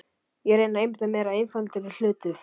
Ég reyni að einbeita mér að einfaldari hlutum.